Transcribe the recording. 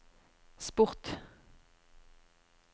sport